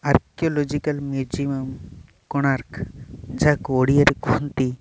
archaeological ମିଯିମମ୍ କୋଣାର୍କ ଯାହାକୁ ଓଡ଼ିଆରେ କୁହନ୍ତି ----